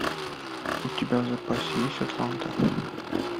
у тебя в запасе есть атланта